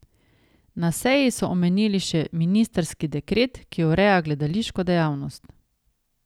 Na seji so omenili še ministrski dekret, ki ureja gledališko dejavnost.